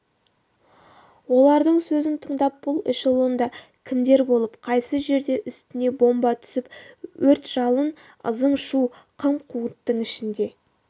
олардың сөзін тыңдап бұл эшелонда кімдер болып қайсы жерде үстіне бомба түсіп өрт-жалын ызың-шу қым-қуыттың ішінде